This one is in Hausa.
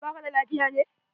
Ba ka da lafiya ne?